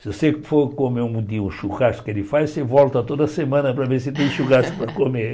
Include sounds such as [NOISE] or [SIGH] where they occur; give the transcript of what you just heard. Se você for comer um dia o churrasco que ele faz, você volta toda semana para ver se tem churrasco para comer. [LAUGHS]